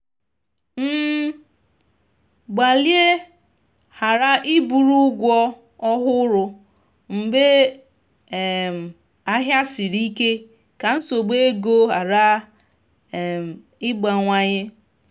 gbalịa ghara iburu ụgwọ ọhụrụ mgbe um ahịa siri ike ka nsogbu ego ghara um ịgbawanye